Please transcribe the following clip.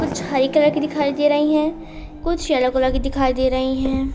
कुछ हरी कलर की दिखाई दे रही है कुछ येलो कलर की दिखाई दे रही है।